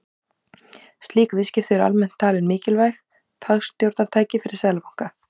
Slík viðskipti eru almennt talin mikilvægt hagstjórnartæki fyrir seðlabanka.